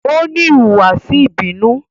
O ni ihuwasi ibinu